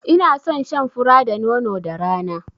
I na son shan fura da nono da rana